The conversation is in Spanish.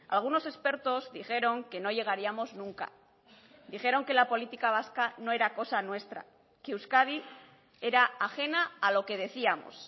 algunos expertos dijeron que no llegaríamos nunca dijeron que la política vasca no era cosa nuestra que euskadi era ajena a lo que decíamos